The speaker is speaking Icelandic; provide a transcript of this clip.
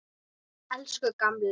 Elsku gamli.